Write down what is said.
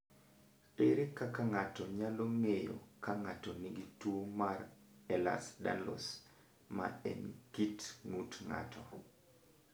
Ere kaka ng’ato nyalo ng’eyo ka ng’ato nigi tuwo mar Ehlers Danlos, ma en kit ng’ut ng’ato?